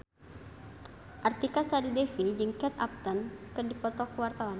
Artika Sari Devi jeung Kate Upton keur dipoto ku wartawan